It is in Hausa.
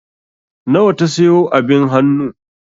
Nawa ta sayo abin hannu?